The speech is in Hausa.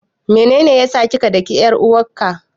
Menene ya sa ka daki ƴar uwarka?